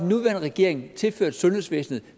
nuværende regering tilført sundhedsvæsenet